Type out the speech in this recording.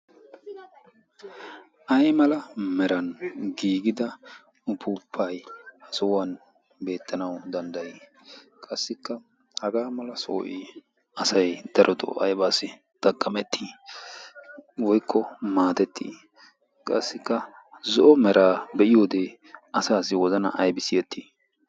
ay mala meran giigida ufuppay ha sohuwan beettanawu danddayii? Qassikka hagaa mala sohoy asay darodoo aybaassi xaqqamettii woykko maatettii? Qassikka zo'o meraa be'iyowodee asaassi wozana aybi siyettii?